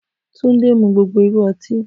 Tunde mu gbogbo iru ọti.